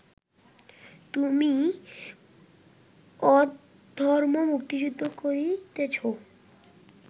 তুমি অধর্মযুদ্ধ করিতেছ